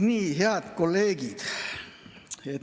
Nii, head kolleegid!